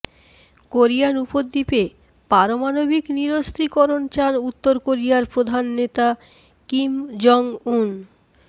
Korean উপদ্বীপে পারমাণবিক নিরস্ত্রীকরণ চান উত্তর কোরিয়ার প্রধান নেতা কিম জং উন